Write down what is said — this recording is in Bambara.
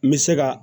N bɛ se ka